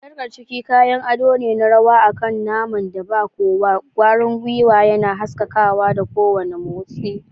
Sarkar ciki kayan ado ne na rawa akan naman da ba kowa, kwarin gwiwa yana haskakawa da kowane mots